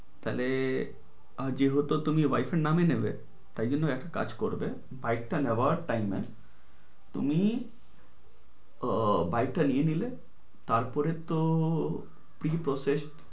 তালে যেহেতু তুমি wife এর নামে নেবে তাই জন্য একটা কাজ করবে bike টা নেওয়ার time এ তুমি উহ bike টা নিয়ে নিলে তের পরে তো freeprocess